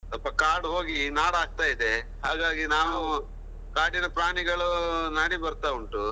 ಸ್ವಲ್ಪ ಕಾಡು ಹೋಗಿ ನಾಡು ಆಗ್ತಾ ಇದೆ, ಹಾಗಾಗಿ ನಾವು ಕಾಡಿನ ಪ್ರಾಣಿಗಳು ನಾಡಿಗೆ ಬರ್ತಾ ಉಂಟು.